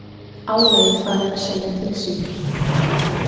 Álagið farið að segja til sín